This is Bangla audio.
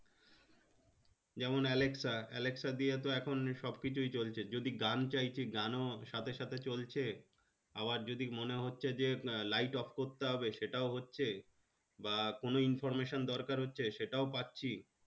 যেমন Alexa alexa দিয়েও তো এখন সবকিছুই চলছে যদি গান চাইছি গানও সাথে সাথে চলছে আবার যদি মনে হচ্ছে যে light off করতে হবে সেটাও হচ্ছে বা কোনো information দরকার হচ্ছে সেটাও পাচ্ছি